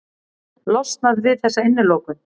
Losnað við þessa innilokun.